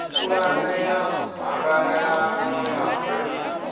pulane ya ṱhanganelano ya mveledziso